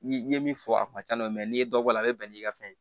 Ni n ye min fɔ a kun na n'i ye dɔ bɔ a la a bɛ bɛn n'i ka fɛn ye